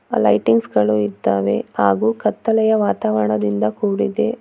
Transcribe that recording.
ಆ ಲೈಟಿಂಗ್ಸ ಗಳು ಇದ್ದಾವೆ ಹಾಗು ಕತ್ತಲೆಯ ವಾತಾವರನದಿಂದ ಕೂಡಿದೆ.